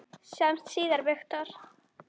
Sjáumst síðar, Viktor.